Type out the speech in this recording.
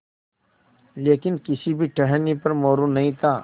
लेकिन किसी भी टहनी पर मोरू नहीं था